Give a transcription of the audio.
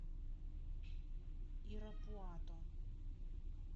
ирапуато